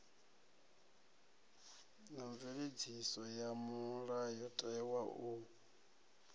na mveledziso ya mulayotewa u